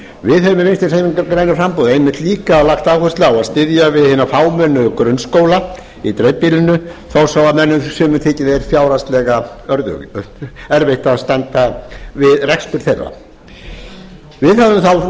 við höfum í vinstri hreyfingunni grænu framboði einmitt líka lagt áherslu á að styðja við hina fámennu grunnskóla í dreifbýlinu þó svo að sumum þyki fjárhagslega erfitt að standa við rekstur þeirra við höfum